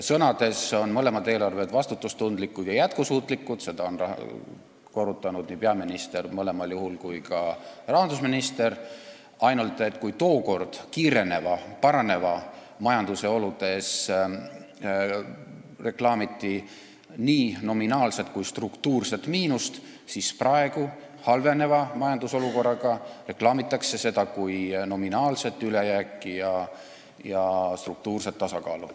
Sõnades on mõlemad eelarved vastutustundlikud ja jätkusuutlikud – seda on mõlemal juhul korrutanud nii peaminister kui ka rahandusminister –, ainult et kui tookord paranevates majandusoludes reklaamiti nii nominaalset kui ka struktuurset miinust, siis praegu, halvenevas majandusolukorras reklaamitakse seda kõike kui nominaalset ülejääki ja struktuurset tasakaalu.